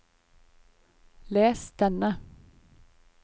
les denne